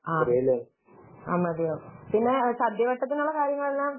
ആഹ് മതിയാവും. പിന്നെ സദ്യ വട്ടത്തിനുള്ള കാര്യങ്ങളൊക്കെ